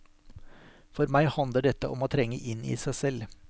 For meg handler dette om å trenge inn i seg selv.